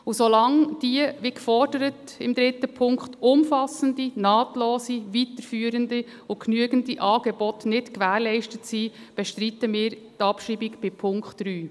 Und solange, wie in Punkt 3 gefordert, diese umfassenden, nahtlosen, weiterführenden und genügenden Angebote nicht gewährleistet sind, bestreiten wir die Abschreibung bei Punkt 3.